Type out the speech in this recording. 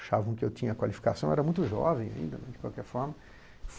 Achavam que eu tinha qualificação, eu era muito jovem ainda, de qualquer forma.